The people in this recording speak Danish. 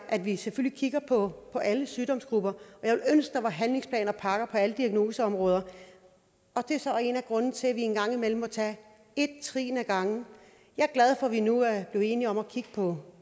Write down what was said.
at vi selvfølgelig kigger på på alle sygdomsgrupper og var handlingsplaner og pakker på alle diagnoseområder det er så en af grundene til at vi engang imellem må tage et trin ad gangen jeg er glad for at vi nu er blevet enige om at kigge på